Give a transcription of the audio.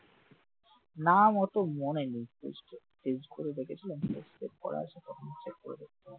নাম অতো মনে নেই করে দেখেছিলাম তো করা আছে তো